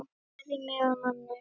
Gerðir mig að manni.